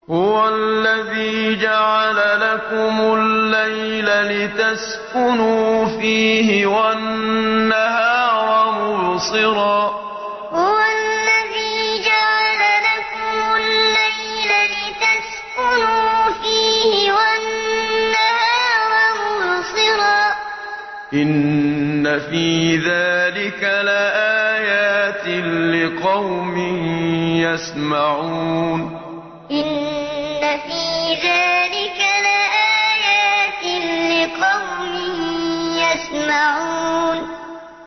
هُوَ الَّذِي جَعَلَ لَكُمُ اللَّيْلَ لِتَسْكُنُوا فِيهِ وَالنَّهَارَ مُبْصِرًا ۚ إِنَّ فِي ذَٰلِكَ لَآيَاتٍ لِّقَوْمٍ يَسْمَعُونَ هُوَ الَّذِي جَعَلَ لَكُمُ اللَّيْلَ لِتَسْكُنُوا فِيهِ وَالنَّهَارَ مُبْصِرًا ۚ إِنَّ فِي ذَٰلِكَ لَآيَاتٍ لِّقَوْمٍ يَسْمَعُونَ